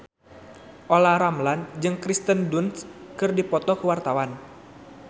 Olla Ramlan jeung Kirsten Dunst keur dipoto ku wartawan